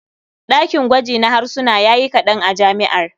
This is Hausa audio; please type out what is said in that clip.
Ɗakin gwaji na harsuna ya yi kaɗan a jami'ar.